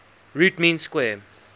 root mean square